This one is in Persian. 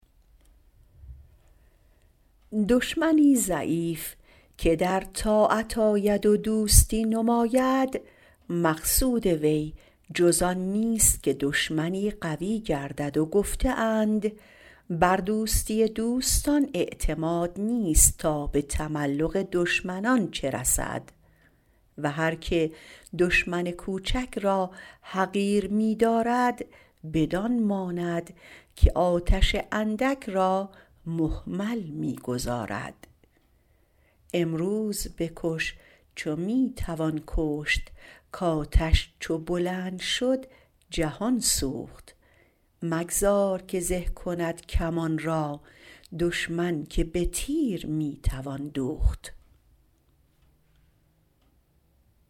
دشمنی ضعیف که در طاعت آید و دوستی نماید مقصود وی جز آن نیست که دشمنی قوی گردد و گفته اند بر دوستی دوستان اعتماد نیست تا به تملق دشمنان چه رسد و هر که دشمن کوچک را حقیر می دارد بدان ماند که آتش اندک را مهمل می گذارد امروز بکش چو می توان کشت کآتش چو بلند شد جهان سوخت مگذار که زه کند کمان را دشمن که به تیر می توان دوخت